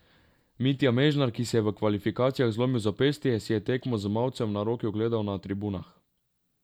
Mitja Mežnar, ki si je v kvalifikacijah zlomil zapestje, si je tekmo z mavcem na roki ogledal na tribunah.